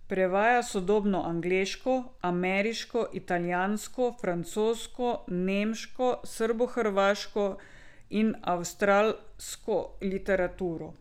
Prevaja sodobno angleško, ameriško, italijansko, francosko, nemško, srbohrvaško in avstralsko literaturo.